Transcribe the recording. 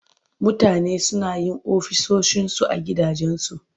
Mutane suna yin ofisoshinsu a gidajensu.